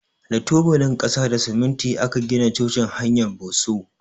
Da tubalin kasa da siminti aka gina cocin hanyar Bosso.